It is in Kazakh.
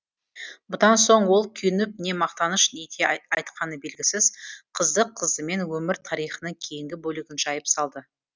бұдан соң ол күйініп не мақтаныш ете айтқаны белгісіз қызды қыздымен өмір тарихының кейінгі бөлігін жайып салды